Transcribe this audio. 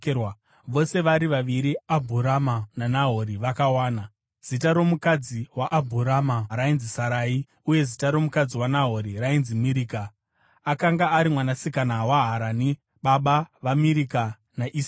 vose vari vaviri Abhurama naNahori vakawana. Zita romukadzi waAbhurama rainzi Sarai, uye zita romukadzi waNahori rainzi Mirika; akanga ari mwanasikana waHarani, baba vaMirika naIsika.